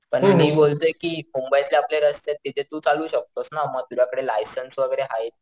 पण मी बोलतोय कि मुंबईतले आपले रस्तेत तिथे तू चालवू शकतोस ना मग तुझ्याकडे लायसन्स वैगेरे आहेत.